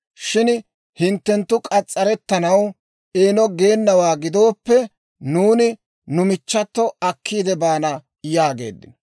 Shin hinttenttu k'as's'arettanaw eeno geenawaa gidooppe, nuuni nu michchato akkiidde baana» yaageeddino.